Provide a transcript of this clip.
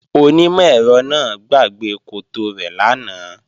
Onímọ̀-ẹ̀rọ náà gbàgbé koto rẹ̀ lánàá